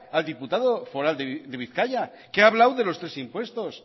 al diputado foral de bizkaia que ha hablado de los tres impuestos